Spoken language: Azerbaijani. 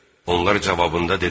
Onlar cavabında dedilər: